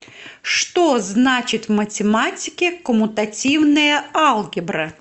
что значит в математике коммутативная алгебра